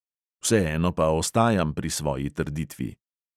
Vseeno pa ostajam pri svoji trditvi.